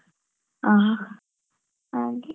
ಹಾ ಹಾಗೆ.